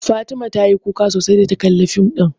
Fatima ta yi kuka sosai da ta kalla fim ɗin